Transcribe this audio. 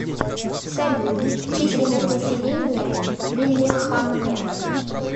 салют численность населения лиллехаммер